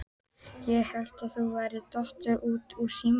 Ég hélt að þú værir dottin út úr símanum!